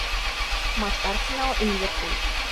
матч арсенал и ливерпуль